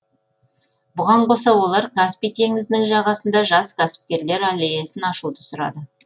бұған қоса олар каспий теңізінің жағасында жас кәсіпкерлер аллеясын ашуды сұрады